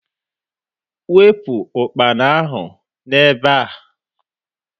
Wepụ ukpana ahu n'ebe a!